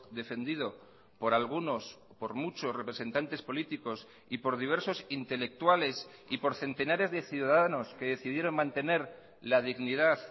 defendido por algunos por muchos representantes políticos y por diversos intelectuales y por centenares de ciudadanos que decidieron mantener la dignidad